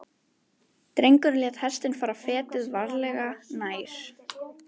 Drengurinn lét hestinn fara fetið, varlega, nær.